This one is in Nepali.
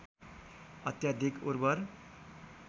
अत्याधिक उर्वर